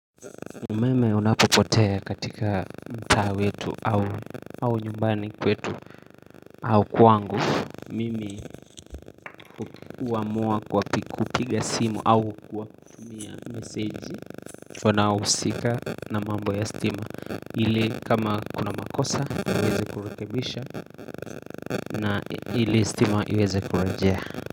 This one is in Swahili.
Mimi unapopotea katika mtaa wetu au nyumbani kwetu au kwangu Mimi huamua kwa kupiga simu au kuwatumia meseji wano husika na mambo ya stima ili kama kuna makosa uweze kurekebisha na ili stima iweze kurejea.